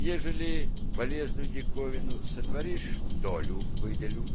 ежели полезную диковину сотворишь долю выделю